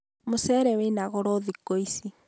mũcere wĩna goro thĩkũ ici